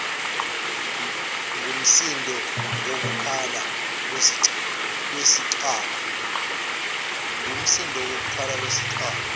ngumsindo wokukhala kwesicabha